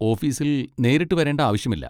ഓഫീസിൽ നേരിട്ട് വരേണ്ട ആവശ്യമില്ല.